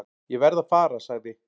"""Ég verð að fara, sagði"""